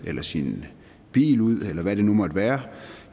eller sin bil ud eller hvad det nu måtte være